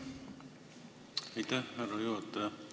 Aitäh, härra juhataja!